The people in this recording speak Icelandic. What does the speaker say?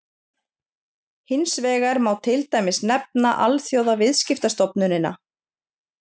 hins vegar má til dæmis nefna alþjóðaviðskiptastofnunina